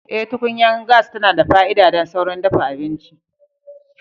Eh, tukunyar gas tana da fa'ida don saurin dafa abinci.